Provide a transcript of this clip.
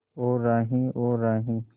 ओ राही ओ राही